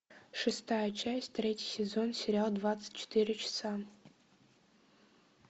шестая часть третий сезон сериал двадцать четыре часа